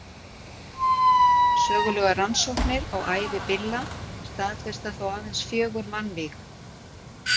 sögulegar rannsóknir á ævi billa staðfesta þó aðeins fjögur mannvíg